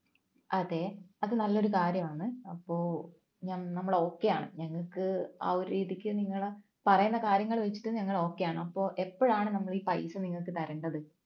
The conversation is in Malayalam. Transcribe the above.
അതെ അത് നല്ലൊരു കാര്യമാണ് അപ്പോ നമ്മൾ okay യാണ് ഞങ്ങൾക്ക് ആ ഒരു രീതിക്ക് നിങ്ങൾ പറയുന്ന കാര്യങ്ങൾ വെച്ചിട്ട് ഞങ്ങൾ okay യാണ് അപ്പോൾ എപ്പോഴാണ് നമ്മൾ ഈ പൈസ നിങ്ങൾക്ക് തരേണ്ടത്